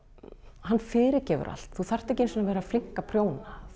hann fyrirgefur allt þú þarft ekki einu sinni að vera flink að prjóna